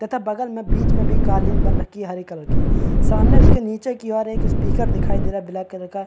तथा बगल में बीच में भी कालीन बन रखी हैं हरे कलर की सामने उसके निचे की ओर एक स्पीकर दिखाई दे रहा हैं ब्लैक का --